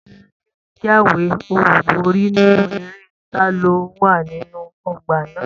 Ta ni ó jáwé olúborí nínú eré taló wà nínú ọgbà náà?